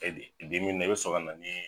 na i bi sɔrɔ ka na ni